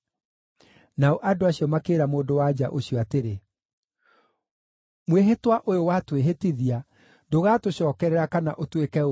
Nao andũ acio makĩĩra mũndũ-wa-nja ũcio atĩrĩ, “Mwĩhĩtwa ũyũ watwĩhĩtithia ndũgatũcookerera kana ũtwĩke ũũru,